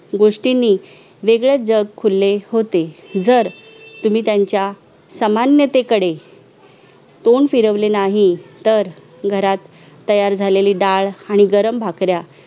गोष्टीनी वेगळेच जग फुले होते जर तुम्ही त्याच्या सामान्यतेकडे तोड फिरविले नाही तर घरात तयार झालेली डाळ आणि गरम भाकऱ्या